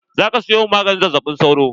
Za ka siyo min maganin zazzaɓin sauro?